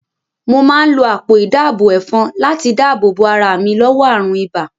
Mo máa ń lo àpò ìdáàbò ẹ̀fọn láti dáàbò bo ara mi lọ́wọ́ àrùn ibà